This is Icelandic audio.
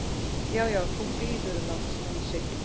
Já, já. þú bíður, lagsi!